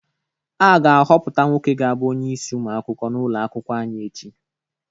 A ga-ahọpụta nwoke ga-abụ onyeisi ụmụ akwụkwọ ụlọ akwụkwọ anyị echi.